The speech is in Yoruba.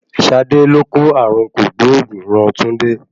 Ṣadé ló kó ààrùn kògbóògùn ran Túndé.